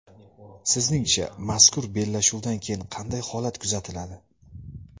Sizningcha, mazkur bellashuvdan keyin qanday holat kuzatiladi?